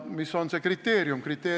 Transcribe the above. Mis on see kriteerium?